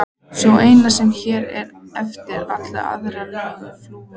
Sú eina sem hér var eftir, allir aðrir löngu flúnir.